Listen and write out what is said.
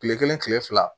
Kile kelen kile fila